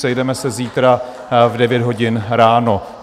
Sejdeme se zítra v 9 hodin ráno.